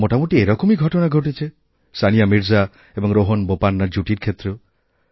মোটামুটি এরকমই ঘটনা ঘটেছে সানিয়া মির্জা এবং রোহন বোপান্না জুটির ক্ষেত্রেও